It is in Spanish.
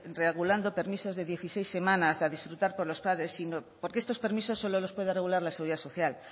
regulando permisos de dieciséis semanas a disfrutar por los padres sino porque estos permisos solo los puede regular la seguridad social